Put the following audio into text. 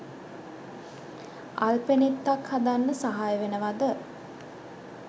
අල්පෙනෙත්තක් හදන්න සහය වෙනවද